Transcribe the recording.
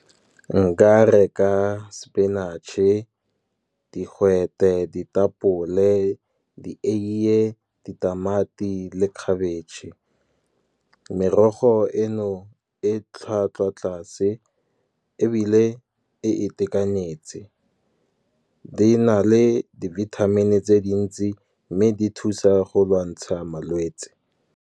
Nka reka spinach-e, digwete, ditapole dieiye, ditamati le khabetšhe. Merogo eno e tlhwatlhwa tlase, ebile e e itekanetse. Di na le di-vitamin-i tse dintsi, mme di thusa go lwantsha malwetse.